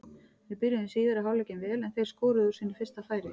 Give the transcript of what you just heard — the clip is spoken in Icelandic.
Við byrjuðum síðari hálfleikinn vel en þeir skoruðu úr sínu fyrsta færi.